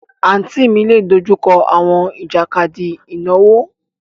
Àǹtí mi lè dojú kọ àwọn ìjàkadì ìnáwó.